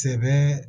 Sɛbɛ